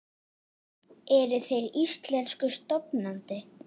Eru þeir Íslensku sofandi?